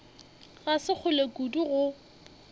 ga se kgole kudu go